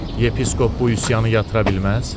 Yepiskop bu üsyanı yatıra bilməz?